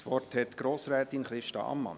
Das Wort hat Grossrätin Christa Ammann.